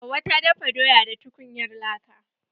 Hauwa ta dafa doya da tukunyar laka.